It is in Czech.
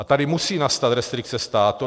A tady musí nastat restrikce státu.